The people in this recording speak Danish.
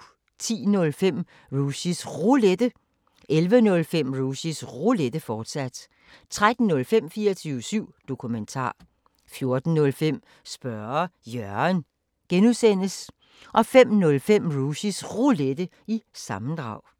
10:05: Rushys Roulette 11:05: Rushys Roulette, fortsat 13:05: 24syv Dokumentar 14:05: Spørge Jørgen (G) 05:05: Rushys Roulette – sammendrag